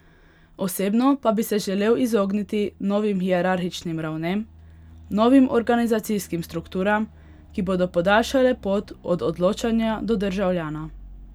Osebno pa bi se želel izogniti novim hierarhičnim ravnem, novim organizacijskim strukturam, ki bodo podaljšale pot od odločanja do državljana.